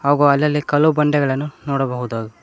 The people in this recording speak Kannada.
ಹಾಗು ಅಲ್ಲಲ್ಲಿ ಕಲ್ಲು ಬಂಡೆಗಳನ್ನು ನೋಡಬಹುದು.